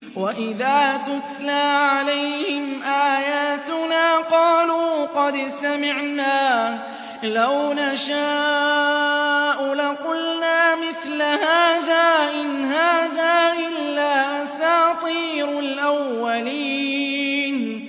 وَإِذَا تُتْلَىٰ عَلَيْهِمْ آيَاتُنَا قَالُوا قَدْ سَمِعْنَا لَوْ نَشَاءُ لَقُلْنَا مِثْلَ هَٰذَا ۙ إِنْ هَٰذَا إِلَّا أَسَاطِيرُ الْأَوَّلِينَ